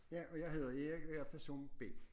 Ja og jeg hedder Erik og jeg er person B